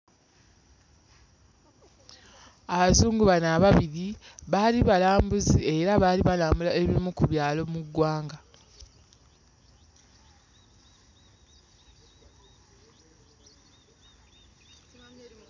Abazungu bano ababiri baali balambuzi era baali balambula ebimu ku byalo mu ggwanga.